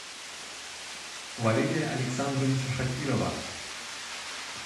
валерия александровича шакирова